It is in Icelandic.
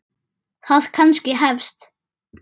Það kannski hefst.